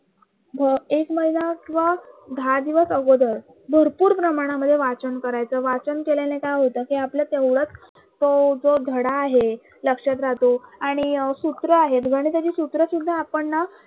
भ एक महिना किंवा दहा दिवस अगोदर भरपूर प्रमाणामध्ये वाचन करायचं वाचन केल्याने काय होत कि आपलं तेवढंच तो जो धडा आहे लक्षात राहतो आणि सूत्र आहेत गणिताची सूत्र सुद्धा आपण ना